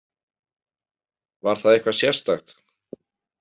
Var það eitthvað sérstakt?